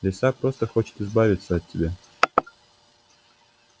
лиса просто хочет избавиться от тебя